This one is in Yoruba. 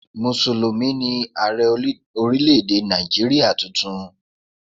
Mùsùlùmí ni Ààrẹ́ orílé-èdè Nàìjíríà tuntun